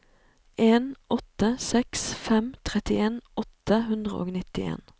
en åtte seks fem trettien åtte hundre og nittien